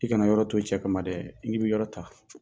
I kana na yɔrɔ to cɛ kama ma dɛ, i ni b'i ka yɔrɔ ta.